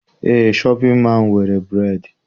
Eé, shọpịn mọọ ahụ nwere bureedị.